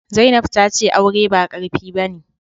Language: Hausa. Zainab tace aure ba qarfi bane